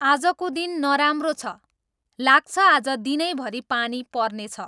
आजको दिन नराम्रो छ, लाग्छ आज दिनैभरि पानी पर्ने छ